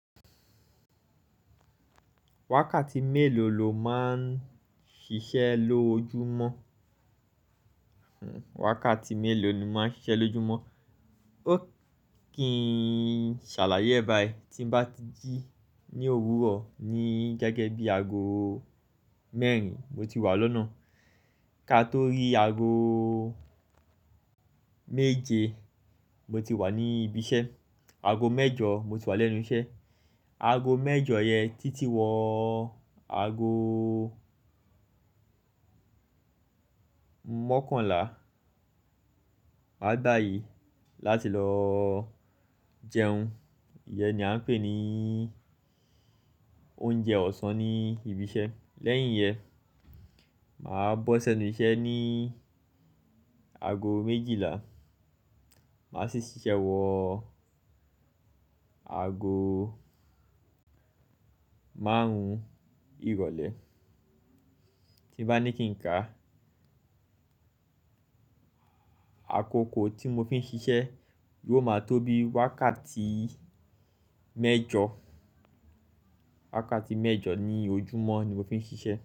Wákàtí mélòó lo máa ń ṣiṣẹ́ lojúmọ́? Wákàtí mélòó ni mo máa ń ṣiṣẹ́ lójúmọ́? Ó kí n ṣàlàyé bá ẹ. Tí mo bá ti jí ní òwúrọ̀ ní gẹ́gẹ́ bí aago mẹ́rin, mo ti wà lọ́nà. Ka tó rí aago méje, mo ti wà ní ibi iṣẹ́. Aago mẹ́jọ mo ti wà lẹ́nu iṣẹ́. Aago mẹ́jọ yẹn títí wọ aago mọ́kànlá. Màá gbá aye láti lọ jẹun. Iye ni à ń pè ní oúnjẹ ọ̀sán ní ibi iṣẹ́. Lẹ́yìn iyẹn, màá bọ́ṣi enú iṣẹ́ ní aago méjìlá. Màá sì ṣiṣẹ́ wọ aago márùn-ún ìrọ̀lẹ́. Tí mo bá ní kí n ká, àkókò tí mo fi ń ṣiṣẹ́ yóò máa tó bí wákàtí mẹ́jọ. Wákàtí mẹ́jọ ní ojúmọ́ ni mo fi ń ṣiṣẹ́.